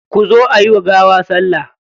Kuzo ayi wa gawa salla.